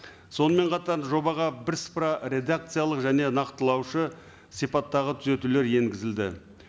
сонымен қатар жобаға бірсыпыра редакциялық және нақтылаушы сипаттағы түзетулер енгізілді